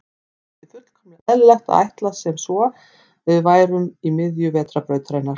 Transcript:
Það var því fullkomlega eðlilegt að ætla sem svo að við værum í miðju Vetrarbrautarinnar.